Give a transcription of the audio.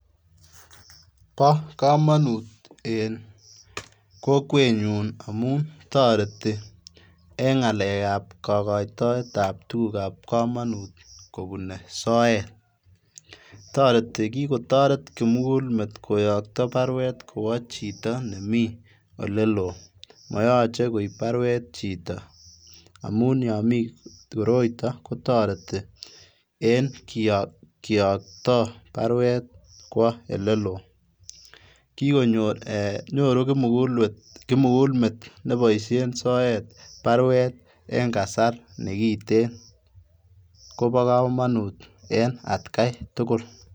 Bo komonut en kokwenyun amun toreti en ngalek ab kokoitoet ab tukuk ab komonut kobun soet, toreti kikotoret kimukulmet koyokto barwet kwo chito nemi oleloo moyoche koib barwet chito amun yon mii koroiton kotoreti en kiyokto barwet kwo oleloo, kikonyor eeh nyoru kimukulmet nepoishen barwet en kasar nekiten kobokomonut en atkai tukul.